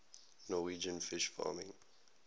norwegian fish farming